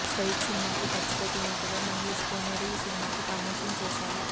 straight సినిమాకు ఖర్చు పెట్టినట్లుగా మహేష్ కోనేరు ఈ సినిమాకు ప్రమోషన్ చేసారు